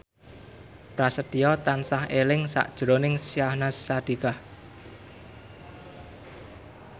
Prasetyo tansah eling sakjroning Syahnaz Sadiqah